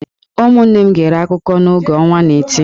Ụmụnne m gere akụkọ a n’oge ọnwa n'eti.